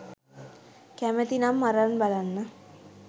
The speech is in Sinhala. කැමති නම් අරන් බලන්න.